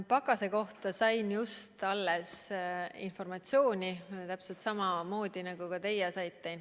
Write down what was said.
Pakase mõju kohta sain just äsja informatsiooni, täpselt samamoodi, nagu ka teie seda saite.